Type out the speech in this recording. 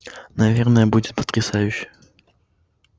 наверное будет потрясающе